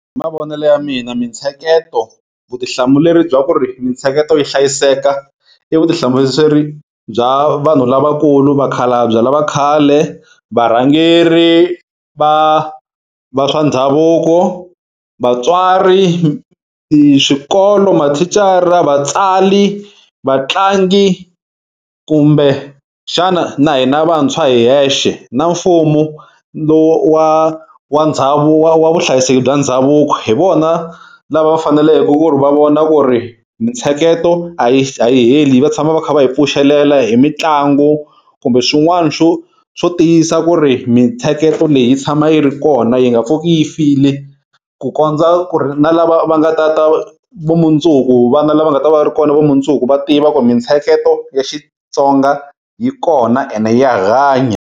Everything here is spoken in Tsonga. Hi mavonele ya mina mintsheketo vutihlamuleri bya ku ri mintsheketo yi hlayiseka i vutihlamuleri bya vanhu lavakulu vakhalabya lava khale, varhangeri va va swa ndhavuko, vatswari, swikolo, mathicara, vatsali, vatlangi kumbe xana na hina vantshwa hi hexe na mfumo lowa wa ndhavuko wa vuhlayiseki bya ndhavuko hi vona lava va fanele ku ri va vona ku ri mintsheketo a yi a yi heli vatshama va kha va yi pfuxelela hi mitlangu kumbe swin'wana swo swo tiyisa ku ri mitsheketo leyi yi tshama yi ri kona yi nga pfuki yi file ku kondza ku ri na lava va nga ta ta va mundzuku vana lava nga ta va ri kona va mundzuku va tiva ku ri mintsheketo ya Xitsonga yi kona ene ya hanya.